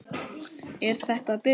Er þetta að byrja?